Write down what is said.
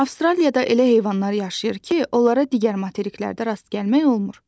Avstraliyada elə heyvanlar yaşayır ki, onlara digər materiklərdə rast gəlmək olmur.